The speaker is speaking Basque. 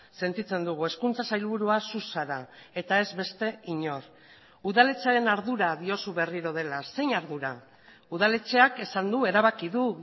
sentitzen dugu hezkuntza sailburua zu zara eta ez beste inor udaletxearen ardura diozu berriro dela zein ardura udaletxeak esan du erabaki du